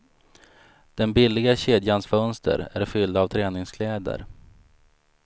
Den billiga kedjans fönster är fyllda av träningskläder.